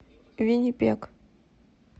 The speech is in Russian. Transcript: виннипег